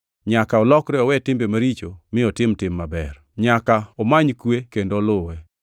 Nyaka olokre owe timbe maricho mi otim tim maber; nyaka omany kwe kendo oluwe.